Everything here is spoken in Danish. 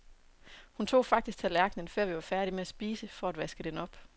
Hun tog faktisk tallerkenen, før vi var færdige med at spise, for at vaske den op.